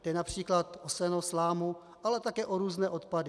Jde například o seno, slámu, ale také o různé odpady.